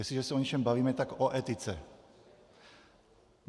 Jestliže se o něčem bavíme, tak o etice.